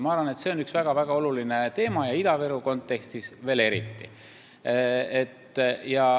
Ma arvan, et see on üks väga-väga oluline teema, Ida-Viru kontekstis veel eriti.